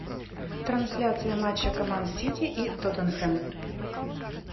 трансляция матча команд сити и тоттенхэм